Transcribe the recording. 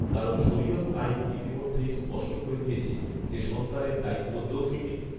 কারণ শরিয়ত আইন ইতিমধ্যেই স্পষ্ট করে দিয়েছে যে সন্তানের দায়িত্ব তৌফিকের